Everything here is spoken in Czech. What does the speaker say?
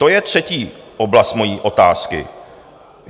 To je třetí oblast mojí otázky.